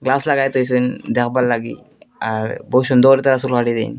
Glass লাগাই থুইসেন দেখবার লাগি আর বহুত সুন্দরতা চুল কাটিতে।